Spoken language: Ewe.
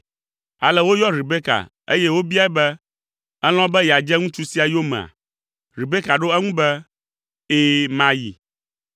Ale woyɔ Rebeka, eye wobiae be, “Èlɔ̃ be yeadze ŋutsu sia yomea?” Rebeka ɖo eŋu be, “Ɛ̃, mayi.”